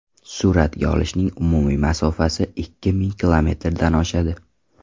Suratga olishning umumiy masofasi ikki ming kilometrdan oshadi.